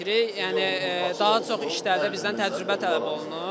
Yəni daha çox işlərdə bizdən təcrübə tələb olunur.